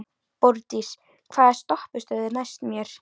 Borgdís, hvaða stoppistöð er næst mér?